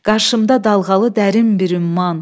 Qarşımda dalğalı dərin bir ümman.